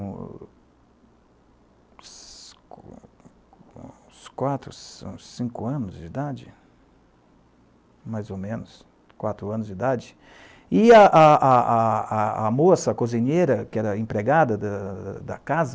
Uns uns quatro, uns ci cinco anos de idade, mais ou menos, quatro anos de idade, e a a a a moça cozinheira, que era a empregada da da da casa,